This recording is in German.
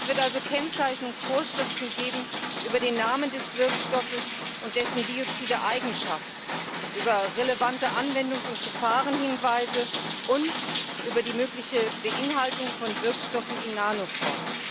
Es wird also Kennzeichnungsvorschriften geben über den Namen des Wirkstoffes und dessen biozide Eigenschaften, über relevante Anwendungs und Gefahrenhinweise und über die mögliche Beinhaltung von Wirkstoffen in Nanoform.